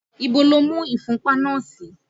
Ibo lo mú ìfúnpá náà sí?